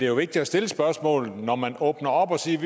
jo vigtigt at stille spørgsmålet for når man åbner op og siger at